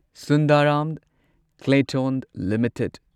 Sundaram Clayton limited